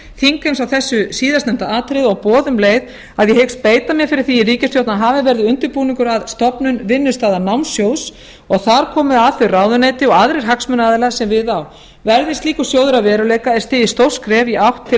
þingheims á þessu síðastnefnda atriði og boða um leið að ég hyggst beita mér fyrir því í ríkisstjórn að hafinn verði undirbúningur að stofnun vinnustaðanámssjóðs og þar komi að þau ráðuneyti og aðrir hagsmunaaðilar sem við á verði slíkur sjóður að veruleika er stigið stórt skref í átt til